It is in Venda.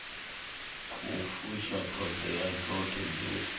khou fusha ṱhoḓea dzoṱhe dzi